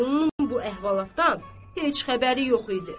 Vəliqulunun bu əhvalatdan heç xəbəri yox idi.